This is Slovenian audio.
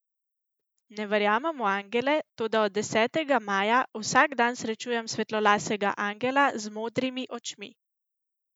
Ne verjamem v angele, toda od desetega maja vsak dan srečujem svetlolasega angela z modrimi očmi.